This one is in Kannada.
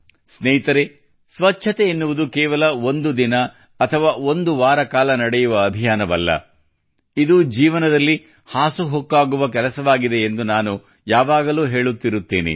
ಸ್ನೇಹಿತರೇ ಸ್ವಚ್ಛತೆ ಎನ್ನುವುದು ಕೇವಲ ಒಂದು ದಿನ ಅಥವಾ ಒಂದು ವಾರಕಾಲ ನಡೆಯುವ ಅಭಿಯಾನವಲ್ಲ ಇದು ಜೀವನದಲ್ಲಿ ಹಾಸುಹೊಕ್ಕಾಗುವ ಕೆಲಸವಾಗಿದೆ ಎಂದು ನಾನು ಯಾವಾಗಲೂ ಹೇಳುತ್ತಿರುತ್ತೇನೆ